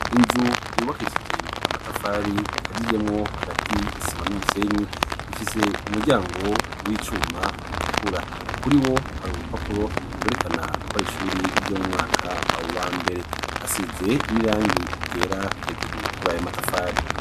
Inzu yubakishije amatafari ikaziyemwo hagati isima n'umusenyi, ifise umuryango w'icuma utukura, kuri wo hari urupapuro werekana kwari ishuri ry'omu mwaka awo wambere, hasize n'irangi igera hejuru kurayo amatafari.